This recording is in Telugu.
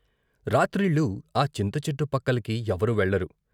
రాత్రిళ్ళు ఆ చింతచెట్టు పక్కలకి ఎవరూ వెళ్ళరు.